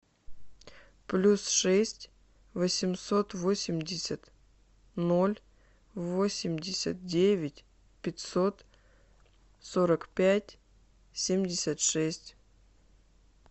плюс шесть восемьсот восемьдесят ноль восемьдесят девять пятьсот сорок пять семьдесят шесть